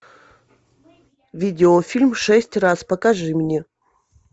видеофильм шесть раз покажи мне